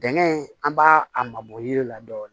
Dingɛ in an b'a a mabɔ yiri la dɔɔni